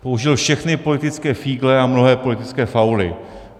Použil všechny politické fígle a mnohé politické fauly.